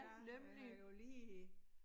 Ja han har jo lige